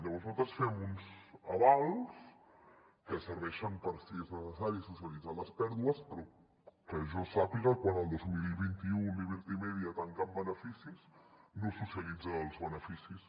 llavors nosaltres fem uns avals que serveixen per si és necessari socialitzar les pèrdues però que jo sàpiga quan el dos mil vint u liberty media tanca amb beneficis no socialitza els beneficis